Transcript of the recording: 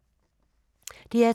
DR2